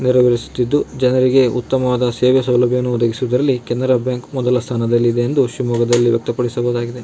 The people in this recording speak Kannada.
ನೆರವೇರಿಸುತ್ತಿದ್ದು ಜನರಿಗೆ ಉತ್ತಮವಾದ ಸೇವೆಸ್ ಸೌಲಭ್ಯವನ್ನು ಒದಗಿಸುವಲ್ಲಿ ಕೆನರಾ ಬ್ಯಾಂಕ್ ಮೊದಲ ಸ್ಥಾನದಲ್ಲಿದೆ ಎಂದು ಶಿವಮೊಗ್ಗದಲ್ಲಿ ವ್ಯಕ್ತ ಪಡಿಸಲಾಗಿದೆ.